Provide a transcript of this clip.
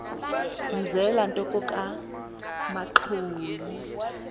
mzela nto kokamanxhoyi